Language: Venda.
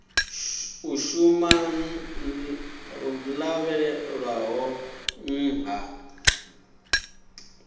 u shuma dzo lavhelelwaho nṱha